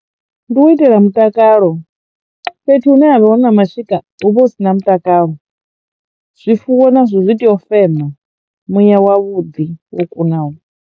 Ndi u itela mutakalo fhethu hune ha vha na mashika hu vha hu si na mutakalo zwifuwo nazwo zwi tea u fema muya wavhuḓi wo kunaho.